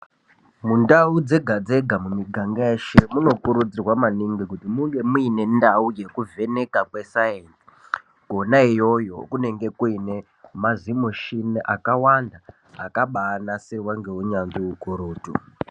Mundau dzega-dzega mumiganga yeshe, munokurudzirwa maningi kuti munge muyine ndau yekuvheneka kwesayinzi, kona iyoyo kunenge kuyine mazimushini akawanda, akabaanasirwa ngeunyanzvi ukurutu.